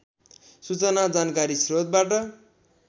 सूचना जानकारी स्रोतबाट